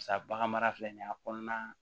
Sa bagan mara filɛ nin ye a kɔnɔna